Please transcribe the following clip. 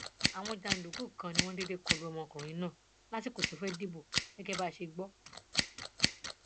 àwọn jàǹdùkú kan ni wọn déédé kọlu ọmọkùnrin náà lásìkò tó fẹẹ dìbò gẹgẹ bí a ṣe gbọ